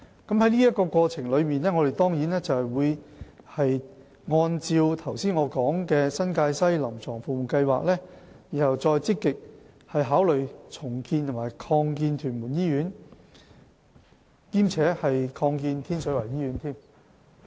在過程中，我們會按照我剛才提及的新界西聯網"臨床服務計劃"，然後再積極考慮重建及擴建屯門醫院，兼且擴建天水圍醫院。